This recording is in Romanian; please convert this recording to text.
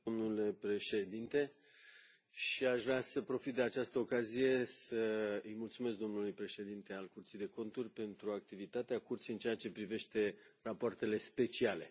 Domnule președinte, aș vrea să profit de această ocazie să îi mulțumesc domnului președinte al Curții de Conturi pentru activitatea Curții în ceea ce privește rapoartele speciale.